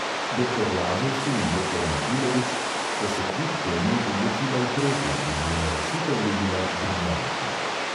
Doktor lazovski in doktor matulevič sta se kljub temu odločila upreti, in njuna rešitev je bila briljantna.